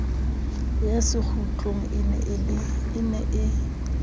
ya sekgutlo e ne e